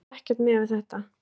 Það var ekkert miðað við þetta